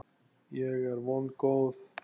Ég er vongóð.